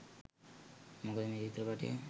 මොකද මේ චිත්‍රපටය